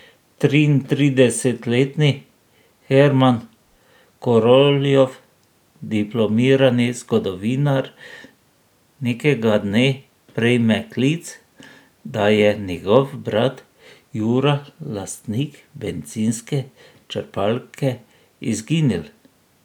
Triintridesetletni Herman Koroljov, diplomirani zgodovinar, nekega dne prejme klic, da je njegov brat Jura, lastnik bencinske črpalke, izginil.